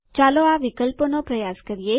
ચાલો આ વિકલ્પોનો પ્રયાસ કરીએ